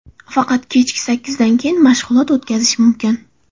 Faqat kechki sakkizdan keyin mashg‘ulot o‘tkazish mumkin.